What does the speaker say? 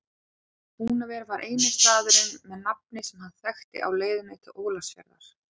Húnaver var eini staðurinn með nafni sem hann þekkti á leiðinni til Ólafsfjarðar.